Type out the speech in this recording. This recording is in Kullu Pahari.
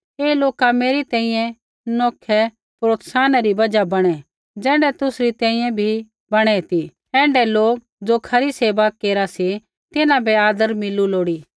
ऐ लोका मेरी तैंईंयैं नौखै प्रोत्साहना री बजहा बणै ज़ैण्ढै तुसरी तैंईंयैं भी बणै ती ऐण्ढै लोक ज़ो खरी सेवा केरा सी तिन्हां बै आदर मिलू लोड़ी